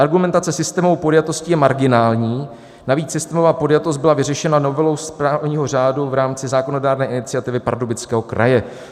Argumentace systémovou podjatostí je marginální, navíc systémová podjatost byla vyřešena novelou správního řádu v rámci zákonodárné iniciativy Pardubického kraje.